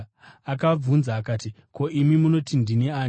Akabvunza akati, “Ko, imi munoti ndini ani?”